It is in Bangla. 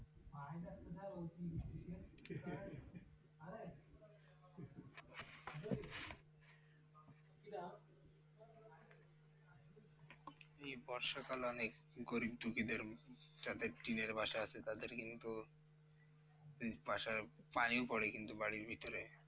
এই বর্ষাকাল অনেক গরীব দুঃখীদের যাদের টিনের বাসা আছে, তাদের কিন্তু বাসার পানিও পড়ে কিন্তু বাড়ির ভিতরে?